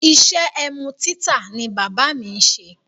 Iṣẹ́ ẹmu títà ni bábà mi ṣe.